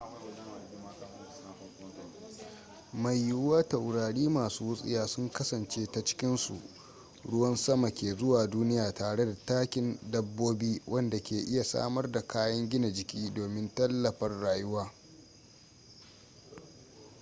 mai yiwuwa taurari masu wutsiya sun kasance ta cikinsu ruwan sama ke zuwa duniya tare da takin dabbobi wanda ke iya samar da kayan gina jiki domin tallafar rayuwa